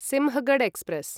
Sinhagad express